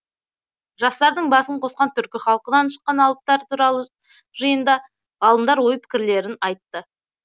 жастардың басын қосқан түркі халқынан шыққан алыптар туралы жиында ғалымдар ой пікірлерін айтты